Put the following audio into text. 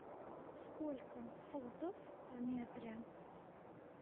сколько футов в метре